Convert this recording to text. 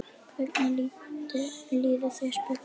Hvernig líður þér? spurði hún.